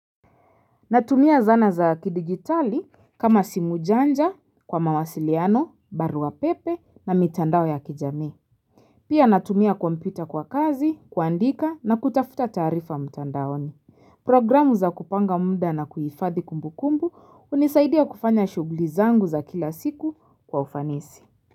Natumia zana za kidijitali kama simu janja, kwa mawasiliano, barua pepe na mitandao ya kijami. Pia natumia kompyuta kwa kazi, kuandika na kutafuta taarifa mtandaoni. Programu za kupanga muda na kuhifadhi kumbukumbu hunisaidia kufanya shughuli zangu za kila siku kwa ufanisi.